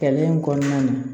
Kɛlɛ in kɔnɔna na